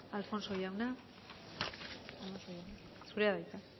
alfonso jauna zurea da hitza